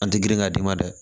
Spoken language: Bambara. An tɛ girin ka d'i ma dɛ